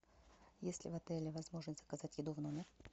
есть ли в отеле возможность заказать еду в номер